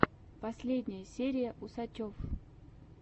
последняя серия усачев